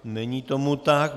Není tomu tak.